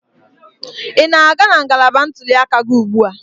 Ị na-aga na ngalaba ntuli aka gị ugbu a?